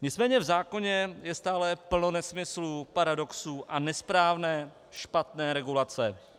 Nicméně v zákoně je stále plno nesmyslů, paradoxů a nesprávné, špatné regulace.